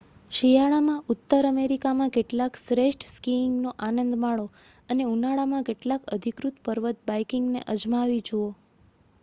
શિયાળામાં ઉત્તર અમેરિકામાં કેટલાક શ્રેષ્ઠ સ્કીઇંગનો આનંદ માણો અને ઉનાળામાં કેટલાક અધિકૃત પર્વત બાઈકિંગને અજમાવી જુઓ